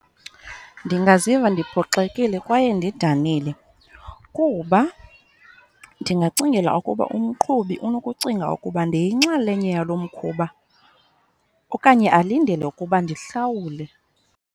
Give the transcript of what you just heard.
Ndingaziva ndiphoxile kwaye ndidanile kuba ndingacingela ukuba umqhubi unokucinga ukuba ndiyinxalenye yalo mkhuba okanye alindele ukuba ndihlawule.